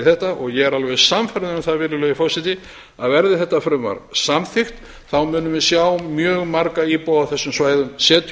þetta og ég er alveg sannfærður um það virðulegi forseti að verði þetta frumvarp samþykkt munum við sjá mjög marga íbúa á þessum svæðum setja upp